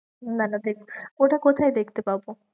না না দেখবো, ওটা কোথায় দেখতে পাবো?